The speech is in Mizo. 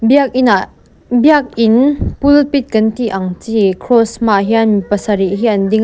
biak inah biak in pulpit kan tih ang chi cross hmaah hian mi pasarih hi an dinga --